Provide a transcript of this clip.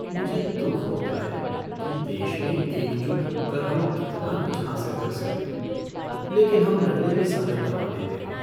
मुझे दुख होता है कि देश में एकजुट होकर हम कितना कुछ हासिल कर सकते हैं लेकिन हम लड़ने में समय गँवा देते हैं।